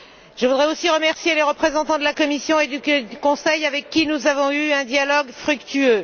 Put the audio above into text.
Je voudrais aussi remercier les représentants de la Commission et du Conseil avec qui nous avons eu un dialogue fructueux.